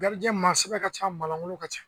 maa sɛbɛn ka ca maa lankolon ka ca